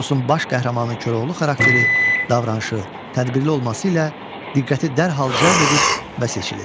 Eposun baş qəhrəmanı Koroğlu xarakteri, davranışı, tədbirli olması ilə diqqəti dərhal cəlb edir və seçilir.